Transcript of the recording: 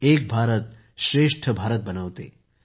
एक भारतश्रेष्ठ भारतबनवत आहे